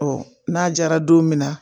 Ɔ n'a jara don min na